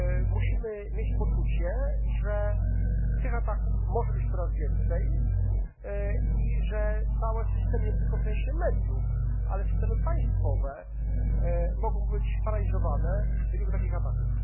Musimy mieć poczucie, że tych ataków może być coraz więcej i że całe systemy nie tylko w sensie mediów, ale systemy państwowe mogą być paraliżowane w wyniku takich ataków.